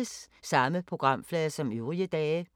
Samme programflade som øvrige dage